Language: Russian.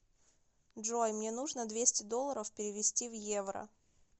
джой мне нужно двести долларов перевести в евро